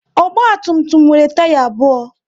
Ogba tum tum nwere taya abụọ